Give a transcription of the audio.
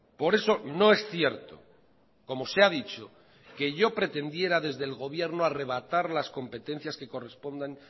por eso no es cierto como se ha dicho que yo pretendiera desde el gobierno arrebatar las competencias que correspondan